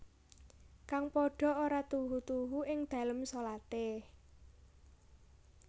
Kang padha ora tuhu tuhu ing dalem sholate